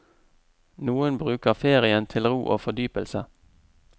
Noen bruker ferien til ro og fordypelse.